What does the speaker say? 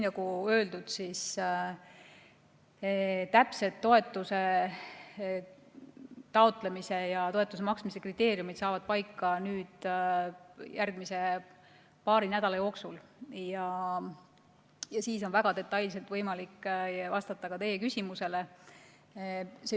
Nagu öeldud, saavad täpsed toetuse taotlemise ja toetuse maksmise kriteeriumid paika järgmise paari nädala jooksul ja siis on väga detailselt võimalik vastata ka teie küsimusele.